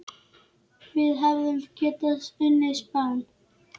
Við hefðum getað unnið Spán.